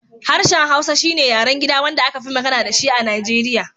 Harshen Hausa shi ne yaren gida wanda aka fi magana da shi a Nigeriya